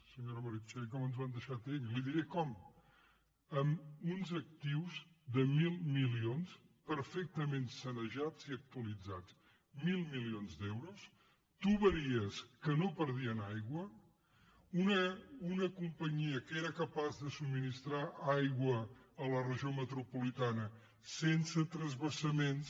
senyora meritxell com ens ho han deixat ells li diré com amb uns actius de mil milions perfectament sanejats i actualitzats mil milions d’euros canonades que no perdien aigua una companyia que era capaç de subministrar aigua a la regió metropolitana sense transvasaments